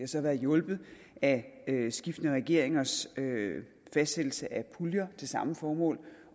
så været hjulpet af skiftende regeringers fastsættelse af puljer til samme formål